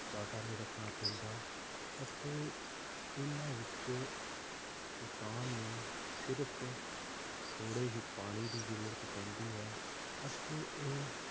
ਜ਼ਿਆਦਾ ਨਹੀਂ ਰੱਖਣਾ ਪੈਂਦਾ ਅਤੇ ਇਹਨਾਂ ਵਿਚ ਕਿਸਾਨ ਨੂੰ ਸਿਰਫ ਥੋੜੇ ਹੀ ਪਾਣੀ ਦੀ ਜਰੂਰਤ ਪੈਂਦੀ ਹੈ ਅਤੇ ਇਹ